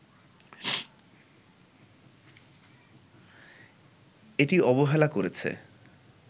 এটি অবহেলা করেছে